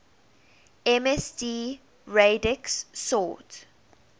msd radix sort